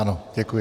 Ano, děkuji.